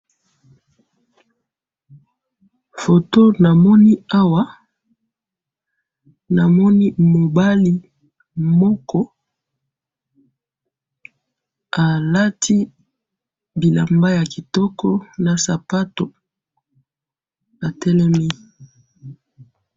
Foto namoni awa namoni mubali moko alati bilamba ya kitoko na sapatu atelemi.